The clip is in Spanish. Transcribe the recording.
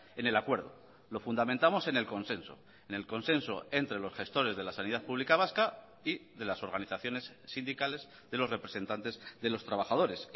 en el acuerdo lo fundamentamos en el consenso en el consenso entre los gestores de la sanidad pública vasca y de las organizaciones sindicales de los representantes de los trabajadores